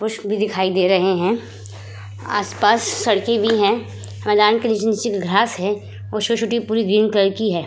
कुछ भी दिखाई दे रहे हैं। आस-पास सड़के भी हैं। मैदान के नीचे-नीचे घास हैं। की है।